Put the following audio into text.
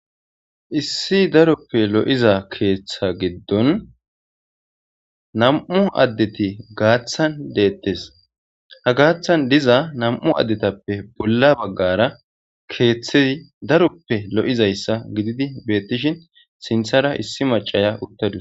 Issi daroppe lo'iza keeththa giddon nam'u addeti gaaththan deettes hagaaththan diza nam'u addetappe bolla baggara keeththei daroppe lo'izayssa gididi beettishin sinthara issi macaya uttadus.